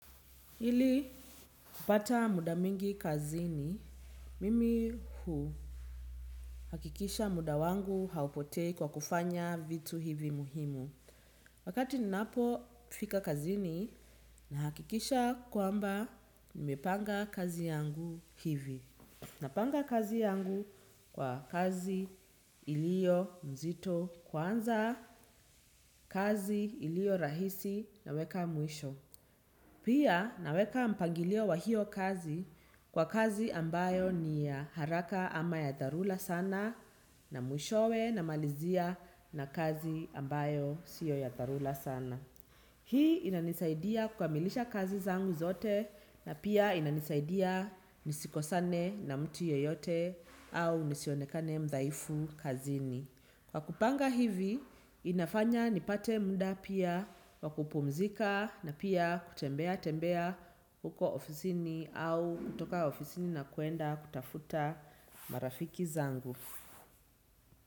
Ili kupata muda mwingi kazini, mimi huu hakikisha muda wangu haupotei kwa kufanya vitu hivi muhimu. Wakati ninapo fika kazini na hakikisha kwamba nimepanga kazi yangu hivi. Napanga kazi yangu kwa kazi ilio mzito kwanza kazi ilio rahisi naweka mwisho. Pia naweka mpangilio wa hiyo kazi kwa kazi ambayo ni haraka ama ya dharula sana na mwishowe na malizia na kazi ambayo siyo ya dharula sana. Hii inanisaidia kukamilisha kazi zangu zote na pia inanisaidia nisiko sane na mtu yoyote au nisionekane mdhaifu kazini. Kwa kupanga hivi, inafanya nipate mda pia wakupumzika na pia kutembea tembea huko ofisini au kutoka ofisini na kuenda kutafuta marafiki zangu.